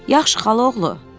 Yaxşı xalaoğlu, dedi.